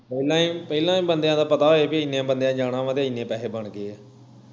ਨਹੀਂ ਪਹਿਲਾਂ ਹੀ ਬੰਦਿਆਂ ਦਾ ਪਤਾ ਹੋਵੇ ਬਈ ਇੰਨਿਆਂ ਬੰਦਿਆਂ ਨੇ ਜਾਣਾ ਵਾਂ ਤੇ ਇੰਨੇ ਪੈਹੇ ਬਣਗੇ ਆ